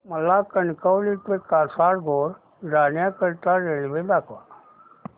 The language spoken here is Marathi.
मला कणकवली ते कासारगोड जाण्या करीता रेल्वे दाखवा